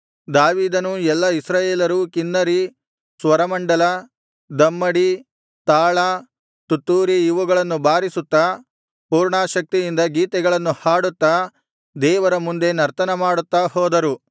ಅವರು ಕೀದೋನನ ಕಣಕ್ಕೆ ಬಂದಾಗ ಎತ್ತುಗಳು ಎಡವಿದ್ದರಿಂದ ಉಜ್ಜನು ಕೈ ಚಾಚಿ ದೇವರ ಮಂಜೂಷವನ್ನು ಹಿಡಿದನು